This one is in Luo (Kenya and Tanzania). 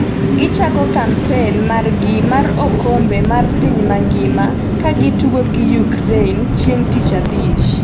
Gichako kampen margi mar okombe mar piny mangima ka gitugo gi Ukraine chieng' tich abich